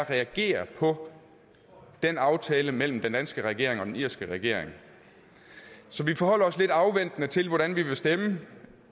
reagerer på den aftale mellem den danske regering og den irske regering så vi forholder os lidt afventende til hvordan vi vil stemme